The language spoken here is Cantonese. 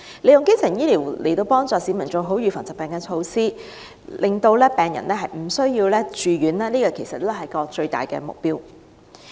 利用基層醫療協助市民做好預防疾病的措施，令病人無需住院，是有關服務的最大目標。